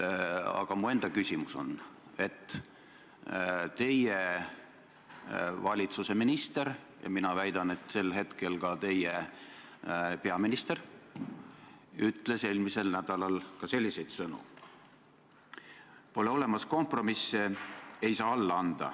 Aga mu enda küsimus on selle kohta, et teie valitsuse minister ja sel hetkel ka peaminister ütles eelmise nädalal sellised sõnad: "Pole olemas kompromisse, ei saa alla anda.